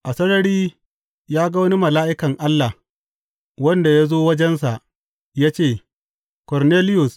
A sarari ya ga wani mala’ikan Allah, wanda ya zo wajensa ya ce, Korneliyus!